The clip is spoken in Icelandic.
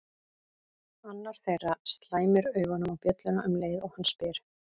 Annar þeirra slæmir augunum á bjölluna um leið og hann spyr